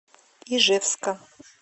ижевска